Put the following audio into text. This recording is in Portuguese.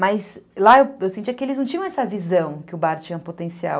Mas lá eu sentia que eles não tinham essa visão que o bar tinha potencial.